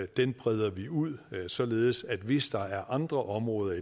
den breder vi ud således at hvis der er andre områder